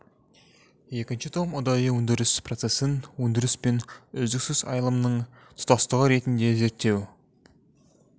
екінші том ұдайы өндіріс процесін өндіріс пен үздіксіз айналымның тұтастығы ретінде зерттеу